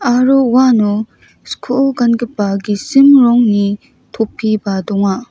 aro uano skoo gangipa gisim rongni topiba donga.